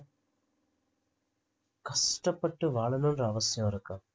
கஷ்டப்பட்டு வாழணுன்ற அவசியம் இருக்கா